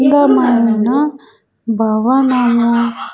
అందమైన భవన --